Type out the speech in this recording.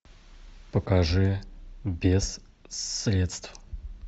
покажи без средств